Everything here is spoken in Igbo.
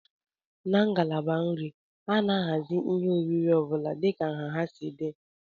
Na ngalaba nri, a na-ahazi ihe oriri ọ bụla dịka nha ha si dị